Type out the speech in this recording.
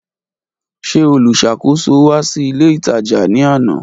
Ṣe olusakoso wa si ile itaja ni ana.